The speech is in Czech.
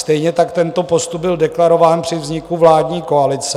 Stejně tak tento postup byl deklarován při vzniku vládní koalice.